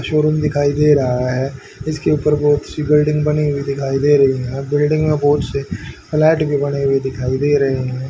Showroom दिखाई दे रहा है इसके ऊपर बहुत सी बिल्डिंग बनी हुई दिखाई दे रही है बिल्डिंग में बहुत से फ्लैट भी बने हुए दिखाई दे रहे हैं।